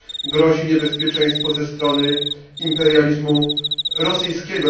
grozi niebezpieczeństwo ze strony imperializmu rosyjskiego.